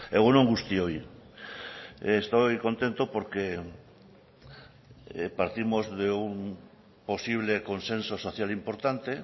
egun on guztioi estoy contento porque partimos de un posible consenso social importante